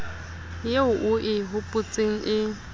eo o e hopotseng e